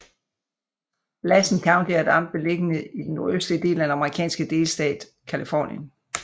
Lassen County er et amt beliggende i den nordøstlige del af den amerikanske delstat Californien